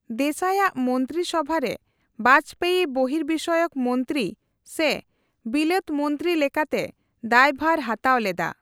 ᱫᱮᱥᱟᱭᱟᱜ ᱢᱚᱱᱛᱨᱤᱥᱚᱵᱷᱟᱨᱮ ᱵᱟᱡᱽᱯᱮᱭᱤ ᱵᱚᱦᱤᱨᱵᱤᱥᱚᱭᱚᱠ ᱢᱚᱱᱛᱨᱤ ᱥᱮ ᱵᱤᱞᱟᱹᱛᱢᱚᱱᱛᱨᱤ ᱞᱮᱠᱟᱛᱮ ᱫᱟᱭᱼᱵᱷᱟᱨ ᱦᱟᱛᱟᱣ ᱞᱮᱫᱟ ᱾